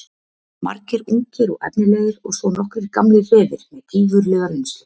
Margir ungir og efnilegir og svo nokkrir gamlir refir með gífurlega reynslu.